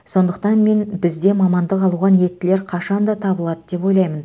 сондықтан мен бізде мамандық алуға ниеттілер қашанда табылады деп ойлаймын